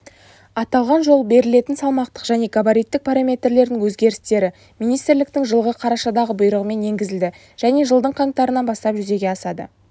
аталған жол берілетін салмақтық және габариттік параметрлердің өзгерістері министрліктің жылғы қарашадағы бұйрығымен енгізілді және жылдың қаңтарынан бастап жүзеге асады